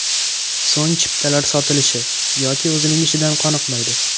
So‘ng chiptalar sotilishi yoki o‘zining ishidan qoniqmaydi.